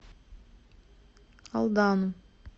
алдану